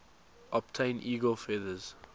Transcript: obtain eagle feathers